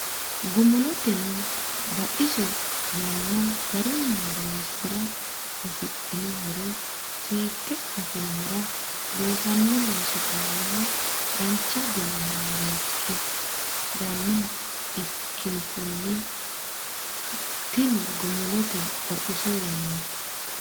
Gumuloteno Baxiso yanna garunni horoonsi ra afidhino horo seekke afinohura loosanno loosi baalaho dancha guma maareekki rannoha ikkinkunni tu rino Gumuloteno Baxiso yanna.